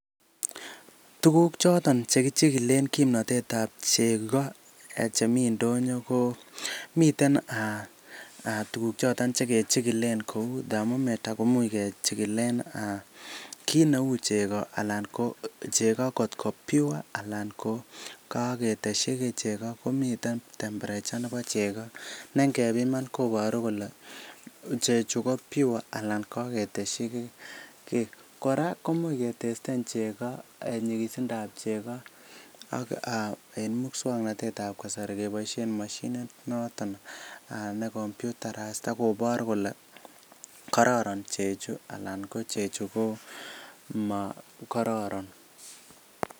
Tuguk choton che kichikilen kimnatetab chego chemi ndonyo komiten tuugk choton che kechikilen kou thermometer kouch kechikilen kit neu chego, ana chego kotko pure anan ko keteshi kiy chego, komiten temperature nebo chego ne ingepiman koboru kole chechu ko pure anan kogetesyi kiy. Kora komoe ketesten nyigisindab chego ak en muswaknatet ab kasari keboishen moshinit noton ne computerised ak kobor kole kororon chechu anan ko chechu ko mokororon